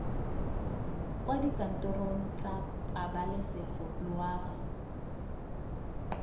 kwa dikantorong tsa pabalesego loago